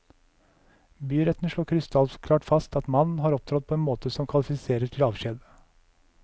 Byretten slår krystallklart fast at mannen har opptrådt på en måte som kvalifiserer til avskjed.